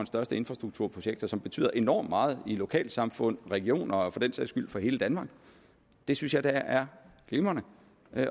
største infrastrukturprojekter som betyder enormt meget i lokalsamfundene regionerne og for den sags skyld for hele danmark det synes jeg da er glimrende